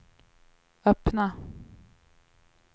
öppna